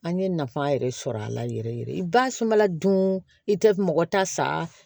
An ye nafa yɛrɛ sɔrɔ a la yɛrɛ yɛrɛ basunbala dun i tɛ mɔgɔ ta sa